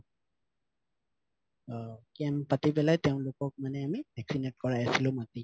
অ camp পাতি পেলাই তেওঁলোকক আমি vaccinate কৰাই আছিলো মাতি